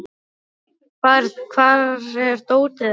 Mörk, hvar er dótið mitt?